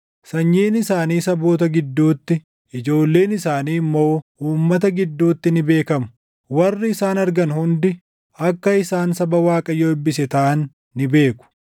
Sanyiin isaanii saboota gidduutti, ijoolleen isaanii immoo uummata gidduutti ni beekamu. Warri isaan argan hundi, akka isaan saba Waaqayyo eebbise taʼan ni beeku.”